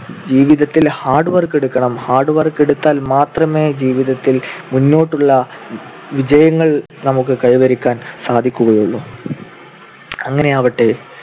ജീവിതത്തിൽ hard work എടുക്കണം. hard work എടുത്താൽ മാത്രമേ ജീവിതത്തിൽ മുന്നോട്ടുള്ള വിജയങ്ങൾ നമുക്ക് കൈവരിക്കാൻ സാധിക്കുകയുള്ളൂ. അങ്ങനെയാവട്ടെ